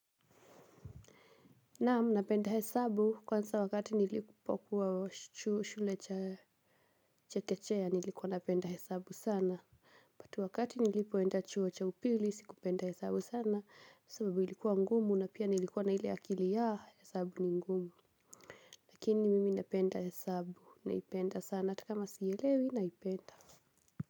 Naamu, napenda hesabu kwanza wakati nilipo kuwa shule chekechea nilikuwa napenda hesabu sana wakati nilipoenda chuo cha upili sikupenda hesabu sana. Sababu ilikuwa ngumu na pia nilikuwa na ile akili ya hesabu ni ngumu lakini mimi napenda hesabu naipenda sana atakama sielewi naipenda.